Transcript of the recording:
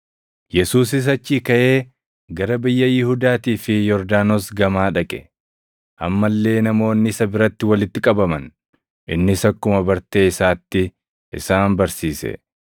Yesuusis achii kaʼee gara biyya Yihuudaatii fi Yordaanos gamaa dhaqe. Amma illee namoonni isa biratti walitti qabaman; innis akkuma bartee isaatti isaan barsiise.